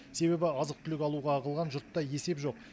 себебі азық түлік алуға ағылған жұртта есеп жоқ